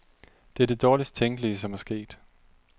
Det er det dårligst tænkelige, som er sket.